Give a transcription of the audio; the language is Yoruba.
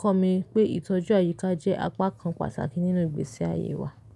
kọ́ mi pé ìtọ́jú àyíká jẹ́ apá kan pàtàkì nínú ìgbésí ayé wa.